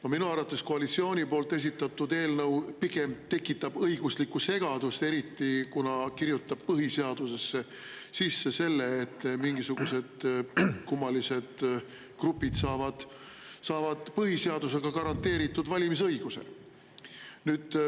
No minu arvates koalitsiooni esitatud eelnõu pigem tekitab õiguslikku segadust, eriti kuna see kirjutab põhiseadusesse sisse selle, et mingisugused kummalised grupid saavad põhiseadusega garanteeritud valimisõiguse.